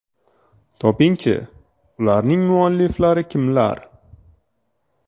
Toping-chi, ularning mualliflari kimlar?